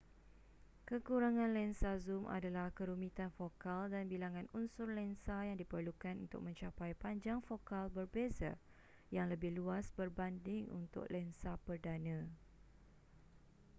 kekurangan lensa zoom adalah kerumitan fokal dan bilangan unsur lensa yang diperlukan untuk mencapai panjang fokal berbeza yang lebih luas berbanding untuk lensa perdana